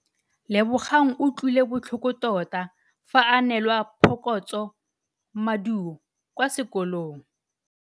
Lebogang o utlwile botlhoko tota fa a neelwa phokotsômaduô kwa sekolong.